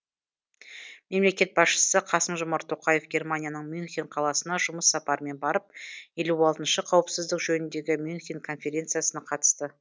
мемлекет басшысы қасым жомарт тоқаев германияның мюнхен қаласына жұмыс сапарымен барып елу алтыншы қауіпсіздік жөніндегі мюнхен конференциясына қатысты